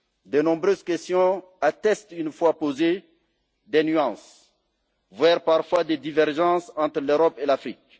De nombreuses questions attestent, une fois posées, des nuances, voire parfois des divergences entre l'Europe et l'Afrique.